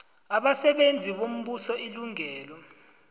abasebenzi bombuso ilungelo